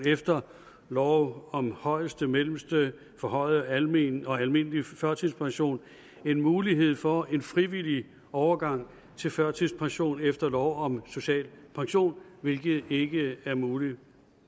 efter lov om højeste mellemste forhøjet almen og almindelig førtidspension en mulighed for en frivillig overgang til førtidspension efter lov om social pension hvilket ikke er muligt